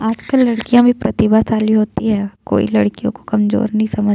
आजकल लड़कियाँ भी प्रतिभा शाली होती है कोई लड़कियों को कमजोर नहीं समझ --